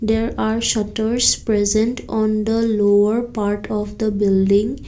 there are shutters present on the lower part of the building.